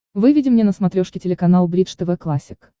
выведи мне на смотрешке телеканал бридж тв классик